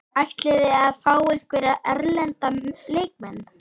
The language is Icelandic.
Ætliði að fá einhverja erlenda leikmenn?